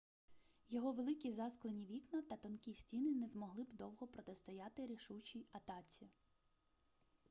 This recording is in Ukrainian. його великі засклені вікна та тонкі стіни не змогли б довго протистояти рішучій атаці